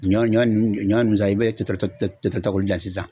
Ɲɔ ɲɔ nunnu ɲɔn san i be to ta ta k'o bil sisan